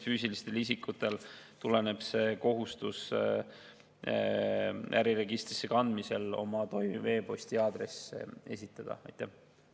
Füüsilistel isikutel tuleneb kohustus oma toimiv e‑posti aadress esitada äriregistrisse kandmisel.